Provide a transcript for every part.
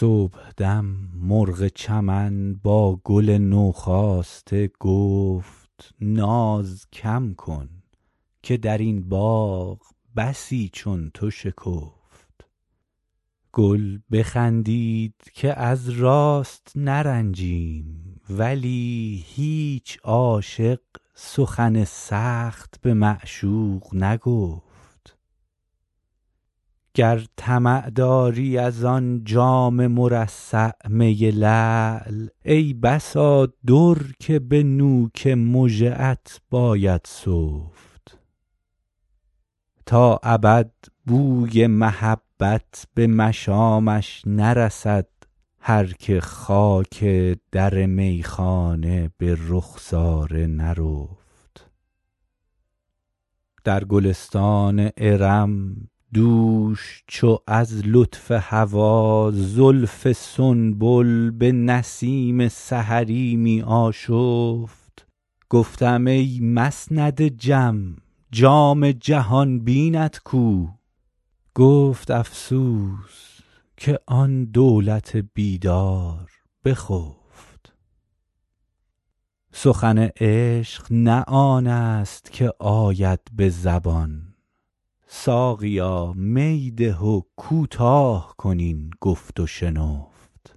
صبحدم مرغ چمن با گل نوخاسته گفت ناز کم کن که در این باغ بسی چون تو شکفت گل بخندید که از راست نرنجیم ولی هیچ عاشق سخن سخت به معشوق نگفت گر طمع داری از آن جام مرصع می لعل ای بسا در که به نوک مژه ات باید سفت تا ابد بوی محبت به مشامش نرسد هر که خاک در میخانه به رخسار نرفت در گلستان ارم دوش چو از لطف هوا زلف سنبل به نسیم سحری می آشفت گفتم ای مسند جم جام جهان بینت کو گفت افسوس که آن دولت بیدار بخفت سخن عشق نه آن است که آید به زبان ساقیا می ده و کوتاه کن این گفت و شنفت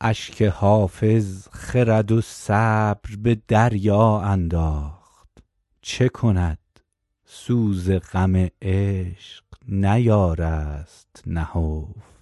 اشک حافظ خرد و صبر به دریا انداخت چه کند سوز غم عشق نیارست نهفت